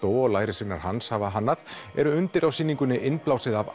og lærisveinar hans hafa hannað eru undir á sýningunni innblásið af